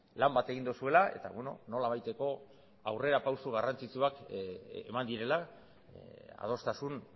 lan bat egin duzuela eta nolabaiteko aurrerapauso garrantzitsuak eman direla adostasun